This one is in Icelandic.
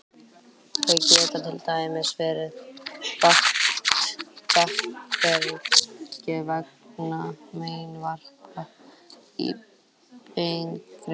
þau geta til dæmis verið bakverkir vegna meinvarpa í beinagrind